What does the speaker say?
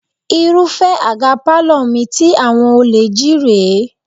Irúfẹ́ àga pálọ̀ mi tí àwọn olè jí rè é